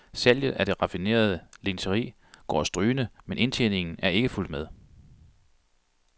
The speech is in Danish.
Salget af det raffinerede lingeri går strygende, men indtjeningen er ikke fulgt med.